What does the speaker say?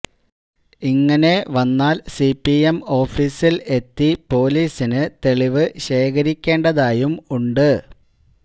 ഇങ്ങനെ വന്നാൽ സിപിഎം ഓഫീസിൽ എത്തി പൊലീസിന് തെളിവ് ശേഖരിക്കേണ്ടതായും ഉണ്ട്